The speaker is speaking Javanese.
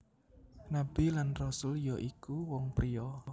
Nabi lan Rasul ya iku wong pria